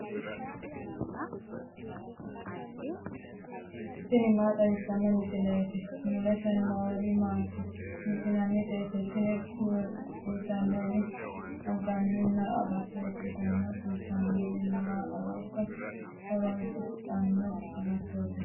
tini maa xawissanno misileeti ? mulese noori maati ? hiissinannite ise ? tini kultannori anganni agatto ikkitanna kurino mannu ooso horoonsidhanno agattooti.